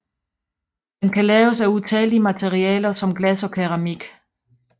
Den kan laves af utallige af materialer som glas og keramik